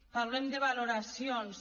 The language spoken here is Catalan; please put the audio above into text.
parlem de valoracions